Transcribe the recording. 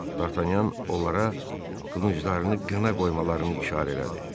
Dartanyan onlara qılınclarını qına qoymalarını işarə elədi.